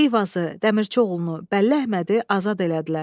Eyvazı, Dəmirçioğlunu, Bəlləhmədi azad elədilər.